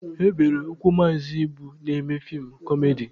E bere ụkwụ Maazị Ibu na-eme feem kọmedi.